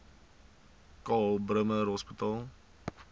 karl bremer hospitaal